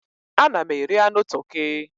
Ana m eri anụ toki.